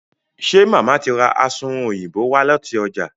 ṣe Mama tí rá Asunrun Òyìnbó wá láti ọjà?